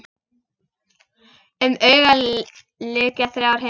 Um augað lykja þrjár himnur.